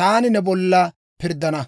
taani ne bollan pirddana.